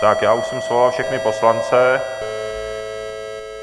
Tak já už jsem svolal všechny poslance.